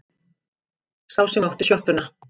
Sá sem átti sjoppuna.